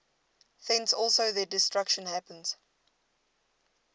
thence also their destruction happens